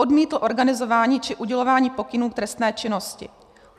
Odmítl organizování či udělování pokynů k trestné činnosti.